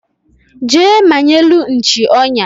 Jee manyelu nchi onya